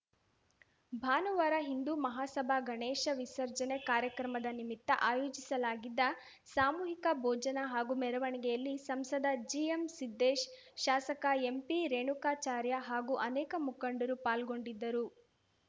ಭಾನುವಾರ ಹಿಂದೂ ಮಹಾಸಭಾ ಗಣೇಶ ವಿಸರ್ಜನೆ ಕಾರ್ಯಕ್ರಮದ ನಿಮಿತ್ತ ಆಯೋಜಿಸಲಾಗಿದ್ದ ಸಾಮೂಹಿಕ ಭೋಜನ ಹಾಗೂ ಮೆರವಣಿಗೆಯಲ್ಲಿ ಸಂಸದ ಜಿಎಂ ಸಿದ್ದೇಶ್‌ ಶಾಸಕ ಎಂಪಿ ರೇಣುಕಾಚಾರ್ಯ ಹಾಗೂ ಅನೇಕ ಮುಖಂಡರು ಪಾಲ್ಗೊಂಡಿದ್ದರು